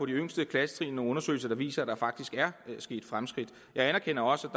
de yngste klassetrin nogle undersøgelser der viser at der faktisk er sket fremskridt jeg anerkender også